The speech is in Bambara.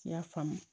I y'a faamu